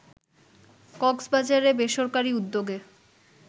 কক্সবাজারে বেসরকারি উদ্যোগে